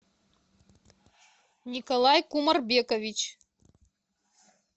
николай кумарбекович